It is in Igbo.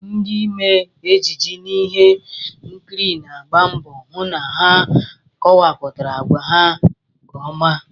Ndị mmee ejije n'ihe nkiri na-agba mbọ hụ na ha kowapụtara agwa ha nke ọma